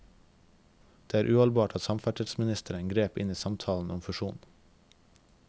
Det er uholdbart at samferdselsministeren grep inn i samtalen om fusjon.